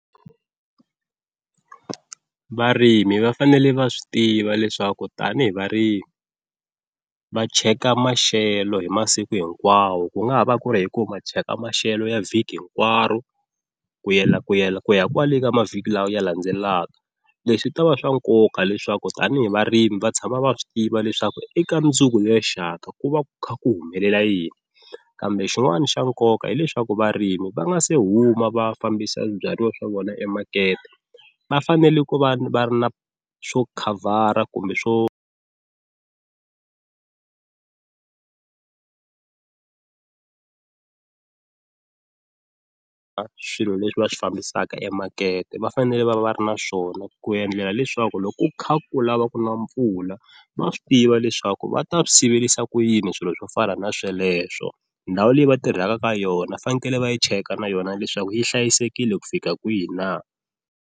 Varimi va fanele va swi tiva leswaku tanihi varimi va cheka maxelo hi masiku hinkwawo ku nga ha va ku ri hi ku va cheka maxelo ya vhiki hinkwaro ku yela ku yela ku ya kwale ka mavhiki lawa ya landzelelaka, leswi ta va swa nkoka leswaku tanihi varimi va tshama va swi tiva leswaku eka mundzuku lerixaka ku va ku kha ku humelela yini kambe xin'wana xa nkoka hileswaku varimi va nga se huma va fambisa swibyariwa swa vona emakete, va fanele ku va va ri na swo khavhara kumbe swo swilo leswi va swi fambisaka emakete va fanele va va va ri na swona ku endlela leswaku loko ku kha ku lava ku na mpfula va swi tiva leswaku va ta swi siverisa ku yini swilo swo fana na sweleswo ndhawu leyi va tirhaka ka yona va fanekele va yi cheka na yona leswaku yi hlayisekile ku fika kwihi na.